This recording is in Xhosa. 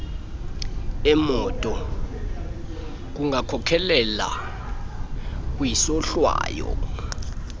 emoto kungakhokhelela kwisohlwayo